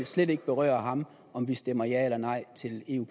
slet ikke berøre ham om vi stemmer ja eller nej til en